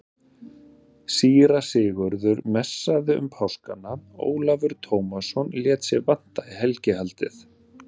Síra Sigurður messaði um páskana, Ólafur Tómasson lét sig vanta í helgihaldið.